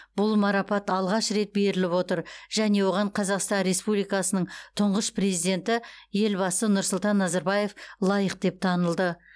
бұл марапат алғаш рет беріліп отыр және оған қазақстан республикасының тұңғыш президенті елбасы нұрсұлтан назарбаев лайық деп танылды